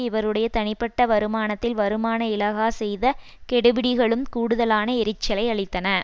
இவருடைய தனிப்பட்ட வருமானத்தில் வருமான இலாகா செய்த கெடுபிடிகளும் கூடுதலான எரிச்சலை அளித்தன